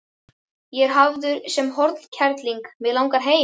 Ég er hafður sem hornkerling, mig langar heim.